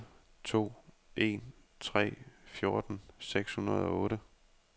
otte to en tre fjorten seks hundrede og otte